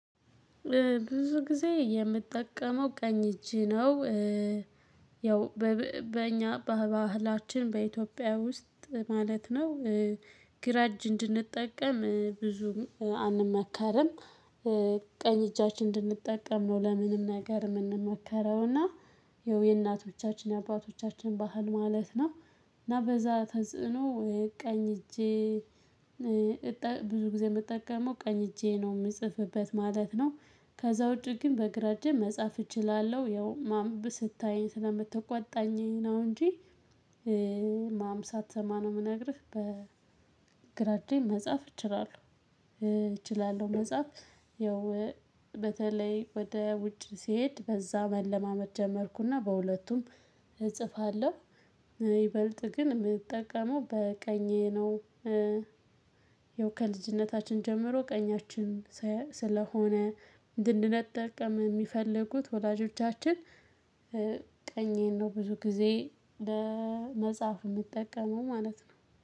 ብዙ ጊዜ የምጠቀመው ቀኝ እጅ ነው ያው በእኛ በባህላችን በኢትዮጵያ ውስጥ ማለት ነው ግራ እጅ እንድንጠቀም ብዙም አንመከርም። ቀኝ እጃችን እንድንጠቀም ነው ለምንም ነገር የምንመከረው እና ያው የእናቶቻችን የአባቶቻችን ባህል ማለት ነው እና በዛ ተጽዕኖ የቀኝ እጄ ብዙ ጊዜ የምጠቀመው ቀኝ እጄ ነው የምጽፍበት ማለት ነው። ከዛ ውጪ ግን በግራ እጄም መጻፍ እችላለሁ። ያው ማም ስታየኝ ስለምትቆጣኝ ነው እንጂ ማም ሳትሰማ ነው የምነግርህ። በግራጄም መጻፍ እችላለሁ። መጻፍ ያው በተለይ ወደ ውጭ ስሄድ በዛ መለማመድ ጀመርኩና በሁለቱም እጽፋለሁ። ይበልጥ ግን የምጠቀመው በቀኜ ነው። ያው ከልጅነታችን ጀምሮ ቀኛችንን ስለሆነ እንድንጠቀም የሚፈልጉት ወላጆቻችን ቀኜን ነው ብዙ ጊዜ ለመጻፍ የምጠቀመው ማለት ነው።